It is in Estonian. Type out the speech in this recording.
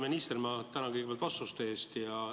Hea minister, ma tänan kõigepealt vastuste eest!